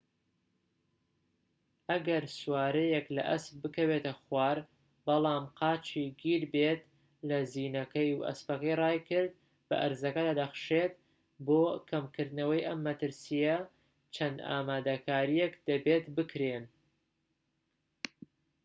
ئەگەر سوارەیەك لە ئەسپ بکەوێتە خوار بەڵام قاچی گیربێت لە زینەکەی و ئەسپەکە رایکرد بە ئەرزەکەدا دەخشێت بۆ کەمکردنەوەی ئەم مەترسیە چەند ئامادەکاریەک دەبێت بکرێن